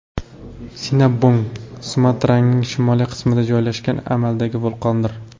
Sinabung Sumatraning shimoliy qismida joylashgan amaldagi vulqondir.